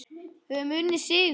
Höfum unnið sigur.